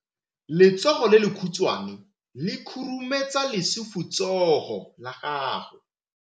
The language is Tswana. Letsogo le lekhutshwane le khurumetsa lesufutsogo la gago.